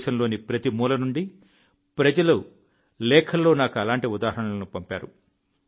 దేశంలోని ప్రతి మూల నుండి ప్రజలు లేఖల్లో నాకు అలాంటి ఉదాహరణలను పంపారు